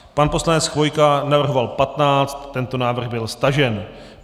Pan poslanec Chvojka navrhoval 15, tento návrh byl stažen.